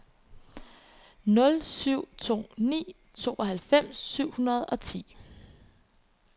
nul syv to ni tooghalvfems syv hundrede og ti